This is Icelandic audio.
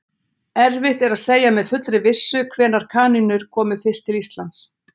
Erfitt er að segja með fullri vissu hvenær kanínur komu fyrst til Íslands.